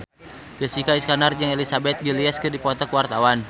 Jessica Iskandar jeung Elizabeth Gillies keur dipoto ku wartawan